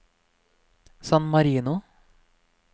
San Marino